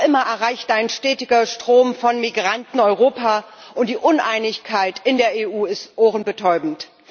Noch immer erreicht ein stetiger Strom von Migranten Europa, und die Uneinigkeit in der EU ist ohrenbetäubend.